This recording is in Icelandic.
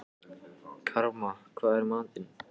Karma, hvað er í matinn?